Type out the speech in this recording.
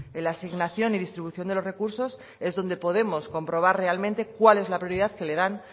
en la asignación y distribución de los recursos es donde podemos comprobar realmente cuál es la prioridad que le dan